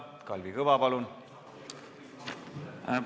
Kalvi Kõva, palun!